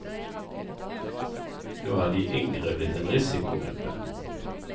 Nå er de yngre blitt en risikogruppe.